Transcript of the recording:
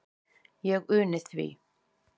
Ég uni því.